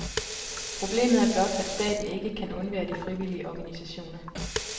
Problemet er blot, at staten ikke kan undvære de frivillige organisationer.